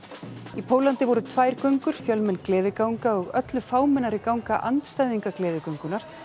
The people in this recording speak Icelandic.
í Póllandi voru tvær göngur fjölmenn gleðiganga og öllu fámennari ganga andstæðinga gleðigöngunnar